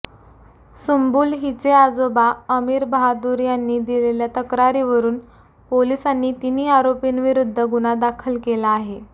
सुंबुल हिचे आजोबा अमीर बहादुर यांनी दिलेल्या तक्रारीवरून पोलिसांनी तिन्ही आरोपींविरुद्ध गुन्हा दाखल केला आहे